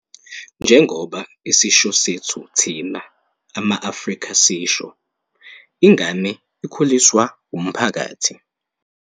Njengoba isisho sethu thina ama-Afrika sisho, "ingane ikhuliswa wumphakathi".